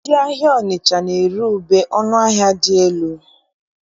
Ndị ahịa Ọnịcha na-ere ube ọnụ ahịa dị elu.